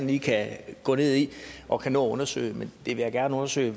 lige kan gå ned i og kan nå at undersøge men jeg vil gerne undersøge